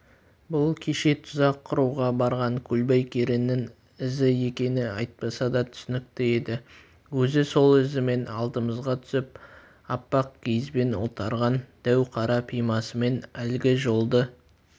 бұл кеше тұзақ құруға барған көлбай кереңнің ізі екені айтпаса да түсінікті еді өзі сол ізімен алдымызға түсіп аппақ киізбен ұлтарған дәу қара пимасымен әлгі жолды